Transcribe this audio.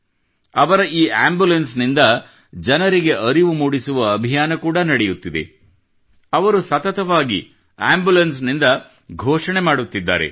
ಅವರ ಈ ಆಂಬುಲೆನ್ಸ್ ನಿಂದ ಜನರಿಗೆ ಅರಿವು ಮೂಡಿಸುವ ಅಭಿಯಾನ ಕೂಡಾ ನಡೆಯುತ್ತಿದೆ ಅವರು ಸತತವಾಗಿ ಆಂಬುಲೆನ್ಸ್ ನಿಂದ ಘೋಷಣೆ ಮಾಡುತ್ತಿದ್ದಾರೆ